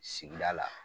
Sigida la